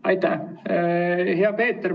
Aitäh, hea Peeter!